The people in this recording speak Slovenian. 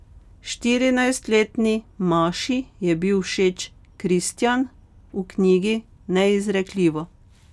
Štirinajstletni Maši je bil všeč Kristjan v knjigi Neizrekljivo.